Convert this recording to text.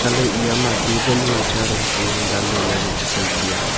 laley eya ma table hiya chair am chu dan ley ley vai chu tai hiya.